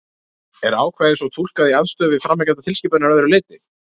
Er ákvæðið svo túlkað í andstöðu við framangreindar tilskipanir að öðru leyti?